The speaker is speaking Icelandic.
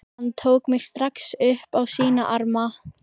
Hann tók mig strax upp á sína arma.